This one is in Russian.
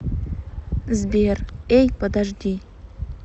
сбер эй подожди